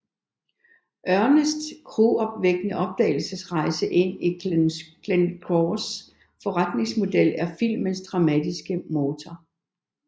Ernests gruopvækkende opdagelsesrejse ind i Glencores forretningsmodel er filmens dramatiske motor